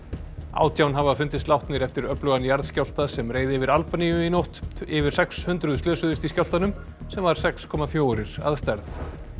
átján hafa fundist látnir eftir öflugan jarðskjálfta sem reið yfir Albaníu í nótt yfir sex hundruð slösuðust í skjálftanum sem var sex komma fjórir að stærð